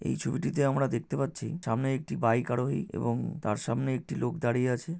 এই ছবিটিতে আমরা দেখতে পাচ্ছি সামনে একটি বাইক আরোহী এবং তার সামনে একটি লোক দাঁড়িয়ে আছে।